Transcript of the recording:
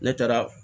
Ne taara